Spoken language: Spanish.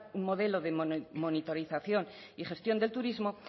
un modelo de monitorización y gestión del turismo